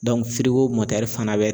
fana bɛ